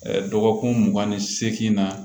Dɔgɔkun mugan ni seegin na